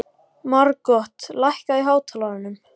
Margot, lækkaðu í hátalaranum.